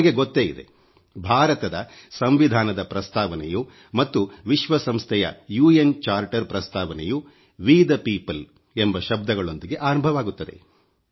ನಿಮಗೆ ಗೊತ್ತೇ ಇದೆ ಭಾರತದ ಸಂವಿಧಾನದ ಪ್ರಸ್ತಾವನೆಯು ಮತ್ತು ವಿಶ್ವಸಂಸ್ಥೆಯ ಯೆನ್ ಚಾಪ್ಟರ್ ಪ್ರಸ್ತಾವನೆಯ ವಿ ದ ಪೀಪಲ್ ಎಂಬ ಶಬ್ದಗಳೊಂದಿಗೆ ಆರಂಭವಾಗುತ್ತದೆ